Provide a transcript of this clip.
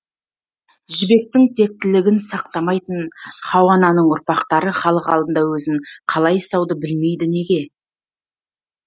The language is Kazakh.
жібектің тектілігін сақтамайтын хауа ананың ұрпақтары халық алдында өзін қалай ұстауды білмейді неге